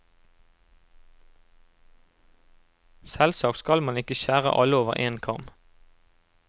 Selvsagt skal man ikke skjære alle over én kam.